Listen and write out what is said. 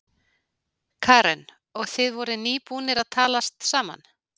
Karen: Og þið voruð nýbúnir að talast saman?